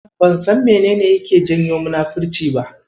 Ban san menene yake janyo munafurci ba.